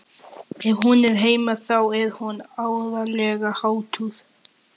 Ef hún er heima þá er hún áreiðanlega háttuð.